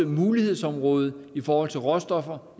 mulighedsområde i forhold til råstoffer